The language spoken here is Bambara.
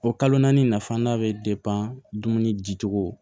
O kalo naani nafa da bɛ dumuni di cogo